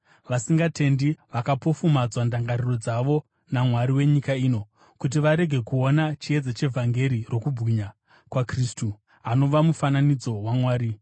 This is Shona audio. Vasingatendi vakapofumadzwa ndangariro dzavo namwari wenyika ino, kuti varege kuona chiedza chevhangeri rokubwinya kwaKristu, anova mufananidzo waMwari.